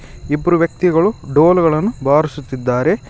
ಇಬ್ರು ವ್ಯಕ್ತಿಗಳು ಡೋಲ್ಗಳನ್ನು ಬಾರಿಸುತ್ತಿದ್ದಾರೆ.